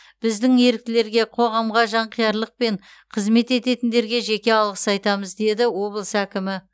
біздің еріктілерге қоғамға жанқиярлықпен қызмет ететіндерге жеке алғыс айтамыз деді облыс әкімі